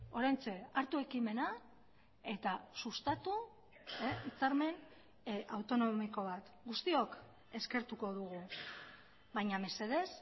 oraintxe hartu ekimena eta sustatu hitzarmen autonomiko bat guztiok eskertuko dugu baina mesedez